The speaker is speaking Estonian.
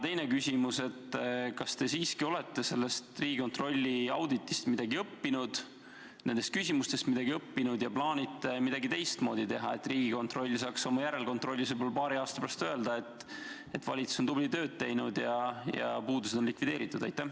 Teine küsimus, kas te olete siiski sellest Riigikontrolli auditist ja nendest küsimustest midagi õppinud ja plaanite midagi teistmoodi teha, et Riigikontroll saaks oma järelkontrollis võib-olla paari aasta pärast öelda, et valitsus on tublit tööd teinud ja puudused on likvideeritud?